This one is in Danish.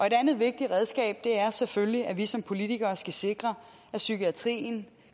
et andet vigtigt redskab er selvfølgelig at vi som politikere skal sikre at psykiatrien